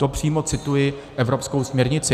To přímo cituji evropskou směrnici.